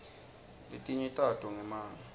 letinye tato ngemanga